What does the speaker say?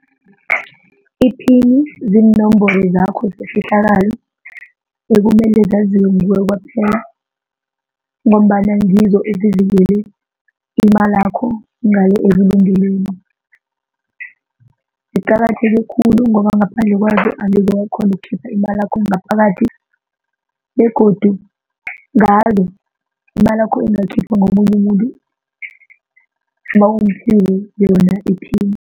Iphini ziinomboro zakho zefihlakalo ekumele zaziwe nguwe kwaphela ngombana ngizo ezivikele imalakho ngale ebulungelweni. Ziqakatheke khulu ngoba ngaphandle kwazo angeze wakghona ukukhipha imalakho ngaphakathi begodu ngazo imalakho ingakhiphwa ngomunye umuntu nawumphile yona iphini.